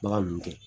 Bagan ninnu tɛ